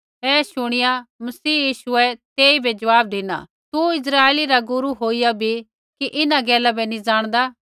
ऐ शुणिया मसीह यीशुऐ तेइबै जवाब धिना तू इस्राइली रा गुरू होईया भी कि इन्हां गैला बै नी जाणदा